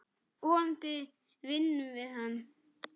Vonandi vinnum við hann.